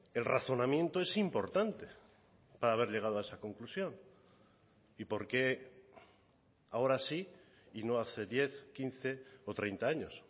el razonamiento es importante para haber llegado a esa conclusión y por qué ahora sí y no hace diez quince o treinta años